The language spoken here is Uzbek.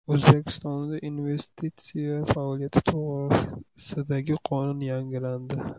O‘zbekistonda investitsiya faoliyati to‘g‘risidagi qonun yangilandi.